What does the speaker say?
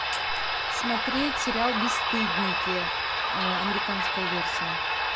смотреть сериал бесстыдники американская версия